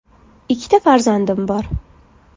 Ikkita farzandim bor.